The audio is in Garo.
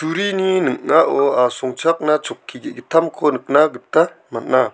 ning·ao asongchakna chokki ge·gittamko nikna gita man·a.